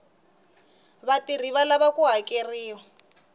vatirhi va lava ku hakeriwa